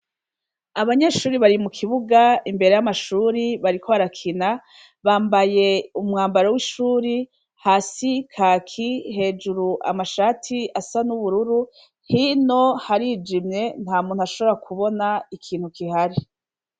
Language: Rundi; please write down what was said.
Abanyeshuri bari mukibuga imbere y’amashuri bariko barakina, bambaye umwambaro w’ishuri , hasi Kaki, hejuru amashati asa n’ubururu, hino harijimye ntamuntu ashobora kubona ikintu kihari.